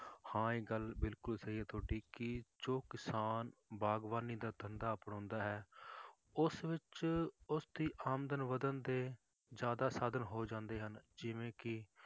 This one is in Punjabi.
ਹਾਂ ਇਹ ਗੱਲ ਬਿਲਕੁਲ ਸਹੀ ਹੈ ਤੁਹਾਡੀ ਕਿ ਜੋ ਕਿਸਾਨ ਬਾਗ਼ਬਾਨੀ ਦਾ ਧੰਦਾ ਅਪਣਾਉਂਦਾ ਹੈ ਉਸ ਵਿੱਚ ਉਸਦੀ ਆਮਦਨ ਵੱਧਣ ਦੇ ਜ਼ਿਆਦਾ ਸਾਧਨ ਹੋ ਜਾਂਦੇ ਹਨ, ਜਿਵੇਂ ਕਿ